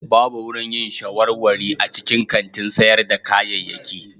Babu wurin yin shawarwari a cikin kantin sayar da kayayyaki.